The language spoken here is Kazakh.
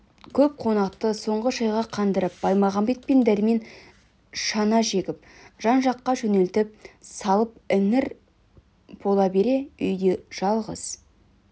көп қонақты соңғы шайға қандырып баймағамбет пен дәрмен шана жегіп жан-жаққа жөнелтіп салып іңір бола бере үйде жалғыз